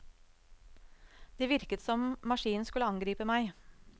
Det virket som maskinen skulle angripe meg.